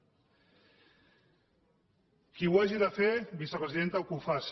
qui ho hagi de fer vicepresidenta que ho faci